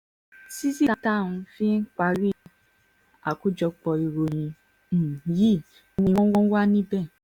fi parí àkójọpọ̀ ìròyìn um yìí ni wọ́n wà níbẹ̀